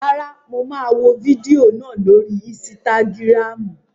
Rárá, mo máa wò fídíò náà lórii ísítágírámù